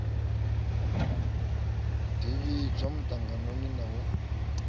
ḓi vhidzwa muṱanganoni na u